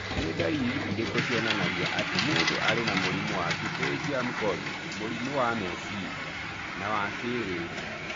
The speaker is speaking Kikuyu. Nĩ ndariri irĩkũ cionanagia atĩ mũndũ arĩ na mũrimũ wa Pterygium colli ũrimũ wa meciria, na wa kĩĩrĩu??